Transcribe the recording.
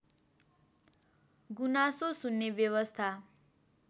गुनासो सुन्ने व्यवस्था